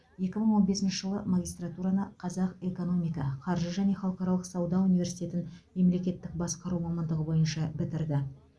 екі мың он бесінші жылы магистратураны қазақ экономика қаржы және халықаралық сауда университетін мемлекеттік басқару мамандығы бойынша бітірді